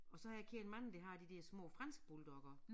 Og så har jeg kendt mange der har de der små fransk bulldog også